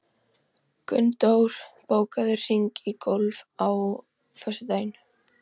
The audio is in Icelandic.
Gunndór, bókaðu hring í golf á föstudaginn.